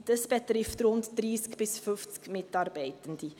Dies betrifft rund 30 bis 50 Mitarbeitende.